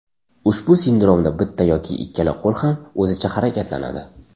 Ushbu sindromda bitta yoki ikkala qo‘l ham o‘zicha harakatlanadi.